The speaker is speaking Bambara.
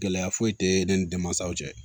Gɛlɛya foyi tɛ ne ni denmansaw cɛ